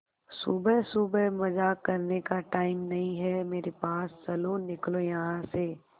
सुबह सुबह मजाक करने का टाइम नहीं है मेरे पास चलो निकलो यहां से